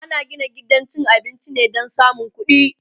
ana Gina gidan cin abinci ne Dan samun ƙuɗi